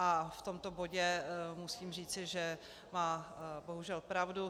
A v tomto bodu musím říci, že má bohužel pravdu.